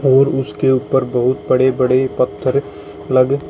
और उसके ऊपर बहुत बड़े बड़े पत्थर लग र--